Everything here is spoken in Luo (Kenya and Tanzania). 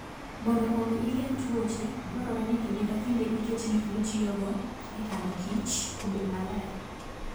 Mondo omi igeng' tuoche, dwarore ni kinde ka kinde iket gik mitiyogo e kanokichr obed maler.